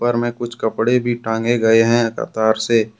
ऊपर में कुछ कपड़े भी टांगे गए हैं कतार से।